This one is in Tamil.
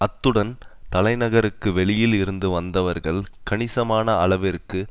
அத்துடன் தலைநகருக்கு வெளியில் இருந்து வந்தவர்கள் கணிசமான அளவிற்கு